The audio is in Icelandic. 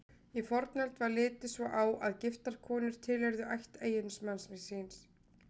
Í fornöld var litið svo á að giftar konur tilheyrðu ætt eiginmanns síns.